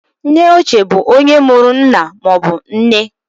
Nneochie bụ onye mụrụ nna maọbụ nne.